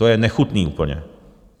To je nechutné úplně.